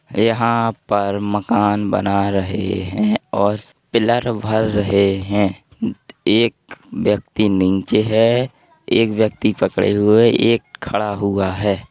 यहां पर मकान बना रहे हैं और पिलर भर रहे हैं। एक व्यक्ति नीचे है। एक व्यक्ति पकड़े हुए है एक खड़ा हुआ है।